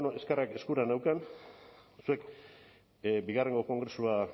ba bueno eskura neukan zuek bigarrengo kongresua